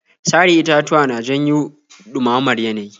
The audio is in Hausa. Sare itatuwa na janyo ɗumamamar yanayi.